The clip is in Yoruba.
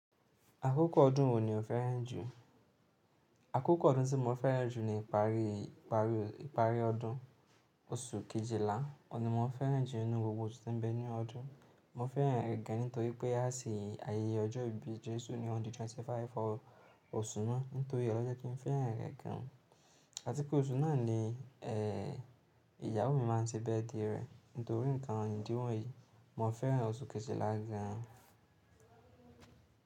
Akókò ọdún wo ni o fẹ́ràn jù? Akókò ọdún tí mo fẹ́ràn jù ni ìparí, ìparí, ìparí ọdún, oṣù kejìlá. Óun ni mo fẹ́ràn jù nínú gbogbo osu tí ń bẹ ní ọdún. Mo fẹ́ràn rẹ̀ gan nítorí pé a se ayẹyẹ ọjọ́ ìbí Jésù ní on the 25 of oṣù náà. Nítorí e lo je kí n fẹ́ràn rẹ̀ gan. Àti pé oṣù náà ni ìyàwó mi máa n tí birthday rẹ̀. Nítorí nǹkan ìdíwọ́ yìí, mo fẹ́ràn oṣù kejìlá gan an.